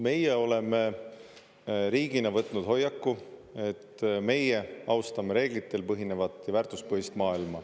Meie oleme riigina võtnud hoiaku, et meie austame reeglitel põhinevat ja väärtuspõhist maailma.